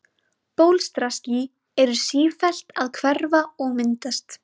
Bólstraský eru sífellt að hverfa og myndast.